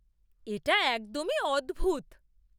এটা একদমই অদ্ভূত!